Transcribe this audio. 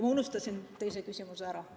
Ma unustasin teise küsimuse ära.